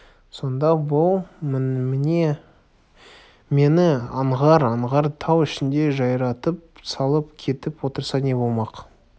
сонда бұл мені аңғар-аңғар тау ішінде жайратып салып кетіп отырса не болмақ